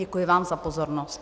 Děkuji vám za pozornost.